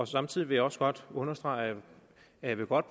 samtidig vil jeg også godt understrege at jeg godt